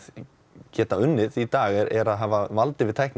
geta unnið í dag er er að hafa vald yfir tækninni